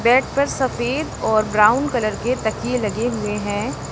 Bed पर सफेद और ब्राउन कलर के तकिए लगे हुए हैं।